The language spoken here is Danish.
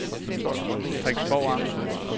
Frederiksborg Amt